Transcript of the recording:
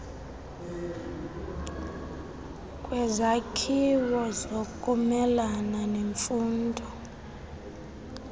kwezakhiwo zokumelana nemfuno